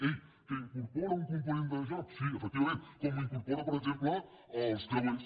ei que incorpora un component de joc sí efectivament com l’incorporen per exemple els creuers